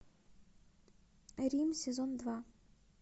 рим сезон два